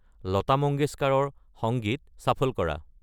লতা মঙ্গেশকাৰৰ সংগীত চাফল কৰা